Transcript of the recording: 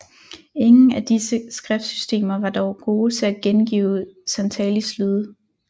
Ingen af disse skriftsystemer var dog gode til at gengive santalis lyde